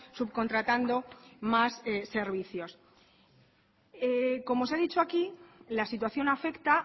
subcontratando más servicios como se ha dicho aquí la situación afecta